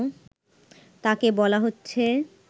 তাকে বলা হচ্ছে